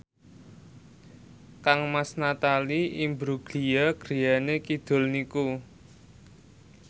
kangmas Natalie Imbruglia griyane kidul niku